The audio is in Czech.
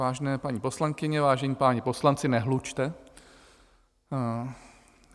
Vážené paní poslankyně, vážení páni poslanci, nehlučte.